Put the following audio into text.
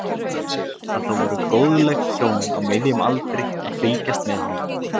Sá útundan sér að það voru góðleg hjón á miðjum aldri að fylgjast með honum.